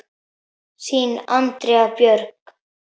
Þín, Andrea Björg.